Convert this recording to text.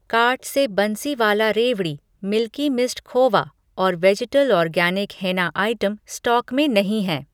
Cart से बंसीवाला रेवड़ी, milky mist खोवा और vegetal organic henna item stock में नहीं हैं।